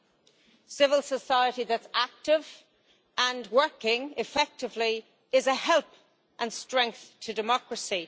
A civil society that is active and working effectively is a help and strength to democracy.